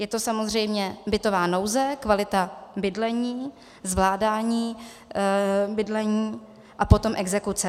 Je to samozřejmě bytová nouze, kvalita bydlení, zvládání bydlení a potom exekuce.